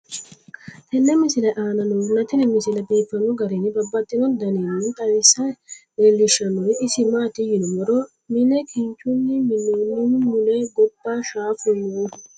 tenne misile aana noorina tini misile biiffanno garinni babaxxinno daniinni xawisse leelishanori isi maati yinummoro mine kinchchunni minoonnihu mule gobba shaaffu noohu.